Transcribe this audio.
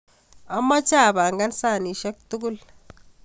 Amacheb apangan sanisiek tugul